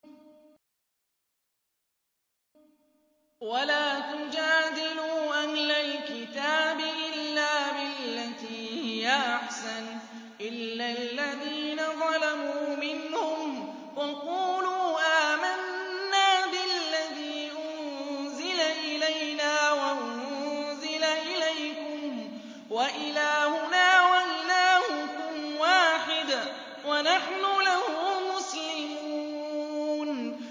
۞ وَلَا تُجَادِلُوا أَهْلَ الْكِتَابِ إِلَّا بِالَّتِي هِيَ أَحْسَنُ إِلَّا الَّذِينَ ظَلَمُوا مِنْهُمْ ۖ وَقُولُوا آمَنَّا بِالَّذِي أُنزِلَ إِلَيْنَا وَأُنزِلَ إِلَيْكُمْ وَإِلَٰهُنَا وَإِلَٰهُكُمْ وَاحِدٌ وَنَحْنُ لَهُ مُسْلِمُونَ